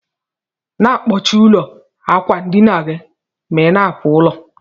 Na akpọchi ụlọ akwandinagi ma ina apụ ilo.